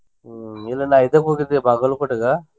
ಹ್ಮ ನಿನ್ನೆ ನಾ ಇದಕ್ಕ ಹೋಗಿದ್ವಿ ಬಾಗಲಕೋಟೆ ಗ.